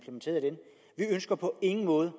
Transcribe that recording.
ønsker på ingen måde